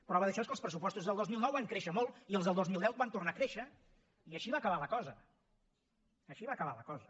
prova d’això és que els pressupostos del dos mil nou van créixer molt i els del dos mil deu van tornar a créixer i així va acabar la cosa així va acabar la cosa